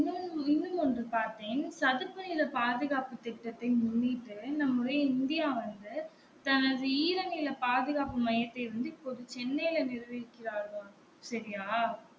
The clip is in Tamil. ஒன்னும் ஒன்று பார்த்தேன் சதுப்புநில பாதுகாப்பு திட்டத்தை முன்னிட்டு நம்முடைய இந்தியா வந்து தனது ஈரநில பாதுகாப்பு மையத்தை வந்து இப்பொழுது சென்னைல நிறுவி இருக்கிறார்களாம் செரியா